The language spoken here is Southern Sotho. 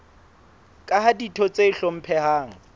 ka ha ditho tse hlomphehang